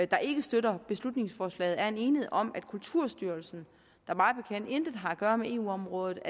der ikke støtter beslutningsforslaget er en enighed om at kulturstyrelsen der mig bekendt intet har at gøre med eu området